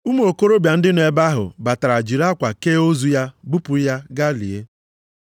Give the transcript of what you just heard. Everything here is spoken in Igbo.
Ụmụ okorobịa ndị nọ ebe ahụ batara jiri akwa kee ozu ya bupụ ya ga lie.